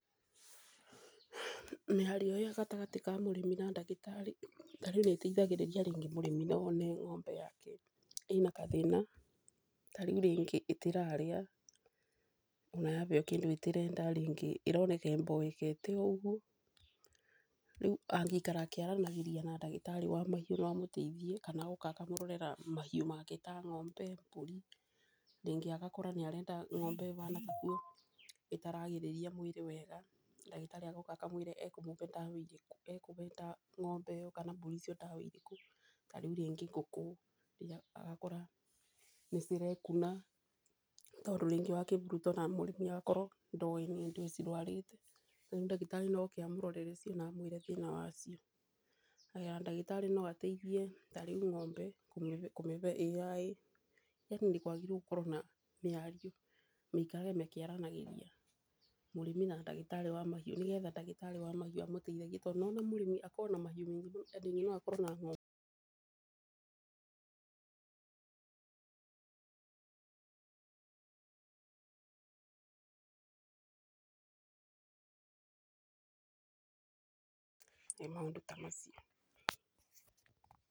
Mĩario ĩyo gatagatĩ ka mũrĩmi na ndagĩtarĩ, ta rĩu nĩteithagĩrĩria rĩngĩ mũrĩmi, no wone ng'ombe yake ĩna gathĩna. Ta rĩu rĩngĩ ndĩrarĩa ona yabeo kĩndũ ndĩrenda, rĩngĩ ĩroneka ĩmboekete oũguo. Rĩu angĩikara akĩaranagĩria na ndagĩtarĩ wa mahiũ no amũteithie kana oka akamũrorera mahiũ make ta ng'ombe, mbũri. Rĩngĩ agakorwo arona ng'ombe ĩtararagĩrĩra mwĩrĩ wega, ndagĩtarĩ oka akamwĩra ekũbe ng'ombe kana mbũri ndawa ĩrĩkũ. Ta rĩu rĩngĩ ngũkũ agakora nĩ cirekuna, tondũ rĩngĩ wa kĩburuto na mũrĩmi agakorwo ndowĩ nĩ ndũ cirwarĩte. Rĩu ndagĩtarĩ no oke amũrorere amwĩre thĩna wa cio. Haya ndagĩtarĩ no ateithie ta rĩu ng’ombe kũmibe AI. Yaani nĩkwagĩrĩire gũkorwo na mĩario maikarage makĩaranagĩria, mũrĩmi na ndagĩtarĩ wa mahiũ, nĩgetha ndagĩtarĩ wa mahiũ amũteithagie, tondũ nĩ wona mũrĩmi akoragwo na mahiũ maingĩ ta ringĩ no akorwo na ng’ombe, ĩĩ maũndũ ta macio.